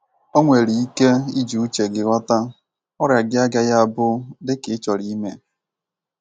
O nwere ike iji uche gị ghọta ọrịa gị agaghi abu ie i chorọ ime